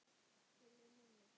Sölvi: Minna?